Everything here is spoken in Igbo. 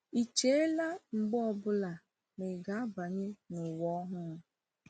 Ị chela mgbe ọ bụla ma ị ga-abanye n’ụwa ọhụrụ?